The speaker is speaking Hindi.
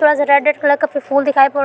थोड़ा रेड रेड कलर का फूल दिखाई पड़ रहा --